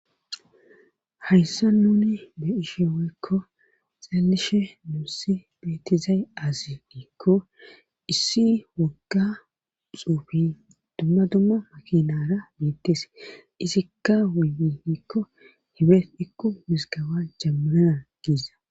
hayssa nuni be ishe woykko xallishe nuussi beetizayi azi iikko issi wogga xuufi dumma dumma makinara meettes izikka wuyiikko hibe ikko wisgawa jammanana giiza